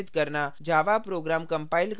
java उपयोग के लाभ